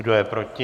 Kdo je proti?